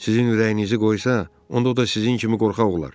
Sizin ürəyinizi qoysa, onda o da sizin kimi qorxaq olar.